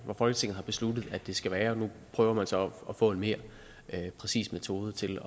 folketinget har besluttet at den skal være og nu prøver man så at få en mere præcis metode til at